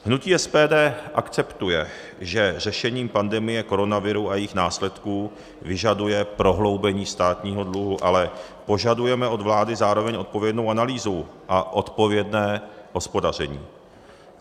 Hnutí SPD akceptuje, že řešení pandemie koronaviru a jejích následků vyžaduje prohloubení státního dluhu, ale požadujeme od vlády zároveň odpovědnou analýzu a odpovědné hospodaření.